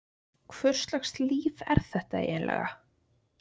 Hvurslags líf er þetta eiginlega?